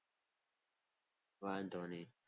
વાંધો નહીં.